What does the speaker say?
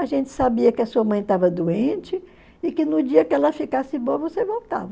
A gente sabia que a sua mãe estava doente e que no dia que ela ficasse boa você voltava.